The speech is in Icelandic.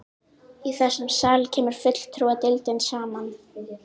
Í þessum sal kemur fulltrúadeildin saman.